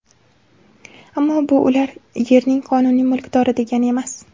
Ammo bu ular yerning qonuniy mulkdori degani emas.